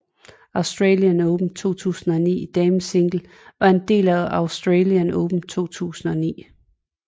Australian Open 2009 i damesingle var en del af Australian Open 2009